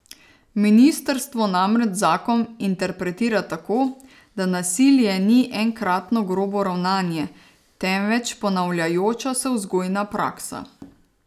Ministrstvo namreč zakon interpretira tako, da nasilje ni enkratno grobo ravnanje, temveč ponavljajoča se vzgojna praksa.